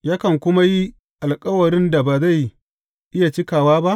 Yakan kuma yi alkawarin da ba zai iya cikawa ba?